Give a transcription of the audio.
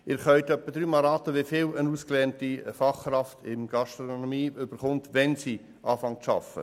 Sie können dreimal raten, wie viel eine ausgelernte Fachkraft Gastronomie erhält, wenn sie zu arbeiten beginnt.